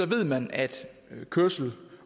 ved man at kørsel